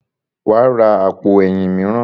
Wàá ra àpò ẹ̀yìn mìíràn.